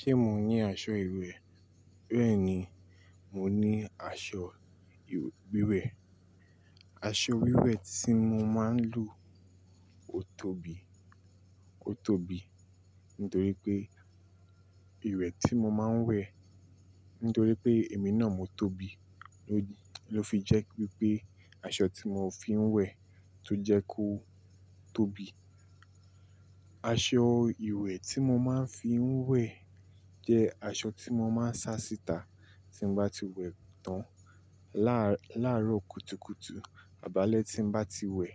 Ṣé mo ní aṣọ ìwẹ̀? Bẹ́ẹ̀ni, mo ní aṣọ ìwẹ̀. Aṣọ wíwẹ̀ tí mo máa ń lò ó tóbi, ó tóbi nítorí pé ìwẹ̀ tí mo máa ń wẹ̀ nítorí pé èmi náà mo tóbi ló fi jẹ́ wipé pé aṣọ tí mo fi ń wẹ̀ tó jẹ́ kó tóbi. Aṣọ ìwẹ̀ tí mo máa ń fi ń wẹ̀ jẹ́ aṣọ tí mo máa ń sa síta tí mo bá ti wẹ̀ tán. Lár, lárò kùtùkùtù ab'alẹ̀ tí mo bá ti wẹ̀.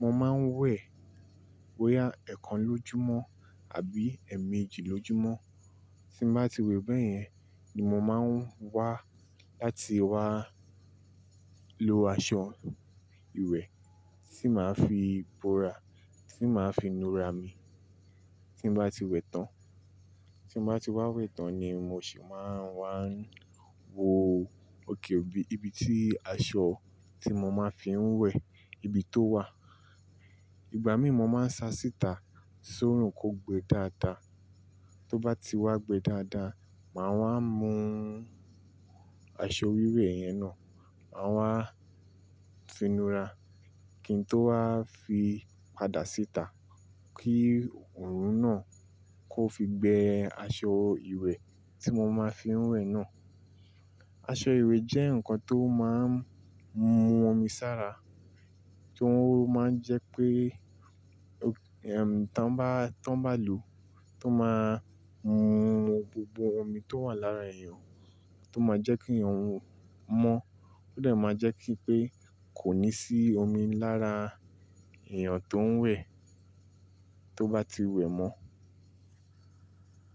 Mo máa ń wẹ̀ boyà ẹ̀kan lójúmọ́ àbí ẹ̀ẹ̀mẹjì lójúmọ́. Tí mo bá ti wẹ̀ bẹ́ẹ̀ yẹn ni mo máa ń wá láti wá lo aṣọ ìwẹ̀ tí màá fi bora, tí màá fi nura mi tí mo bá ti wẹ̀ tán. Tí mo bá ti wá wẹ̀ tán ni mo sì máa ń wá wo òkè òbí ibi tí aṣọ tí mo máa ń fi ń wẹ̀ ibi tó wà. Ìgbà míi mo máa ń sa síta s'órùn kó gbe dáadáa. Tó bá ti wá gbe dáadáa, màá wá mú aṣọ wíwẹ̀ yẹn náà, màá wá finura kí n tó wá fi padà síta kí òrùn náà kó fi gbe aṣọ ìwẹ̀ tí mo máa ń fi ń wẹ̀ náà. Aṣọ ìwẹ̀ jẹ́ nǹkan tó máa ń mú omi sára, tó máa ń jẹ́ pé tàn bá, tàn bá lò, tó máa ń mú gbogbo omi tó wà lára èèyàn, tó máa jẹ́ kí èèyàn mọ́, ó dẹ̀ máa jẹ́ kí pé kò ní sí omi lára èèyàn tó ń wẹ̀ tó bá ti wẹ̀ mọ́.